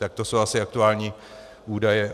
Tak to jsou asi aktuální údaje.